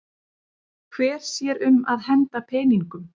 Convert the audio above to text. Hver sér um að henda peningum?